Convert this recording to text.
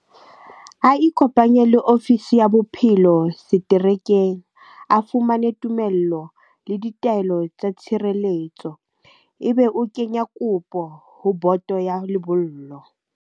A ikopanye le ofisi ya bophelo seterekeng. A fumane tumello le ditaelo tsa tshireletso. Ebe o kenya kopo ho boto ya lebollo.